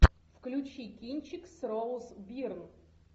включи кинчик с роуз бирн